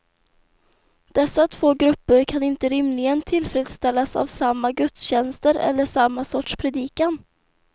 Dessa två grupper kan inte rimligen tillfredsställas av samma gudstjänster eller samma sorts predikan.